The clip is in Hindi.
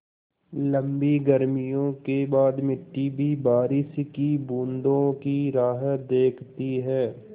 लम्बी गर्मियों के बाद मिट्टी भी बारिश की बूँदों की राह देखती है